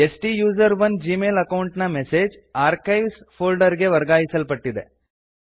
ಸ್ಟುಸೆರೋನ್ Gmail account ನ message archives folder ಗೆ ವರ್ಗಾಯಿಸಲ್ಪಟ್ಟಿದೆ